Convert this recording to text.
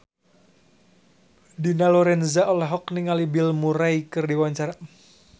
Dina Lorenza olohok ningali Bill Murray keur diwawancara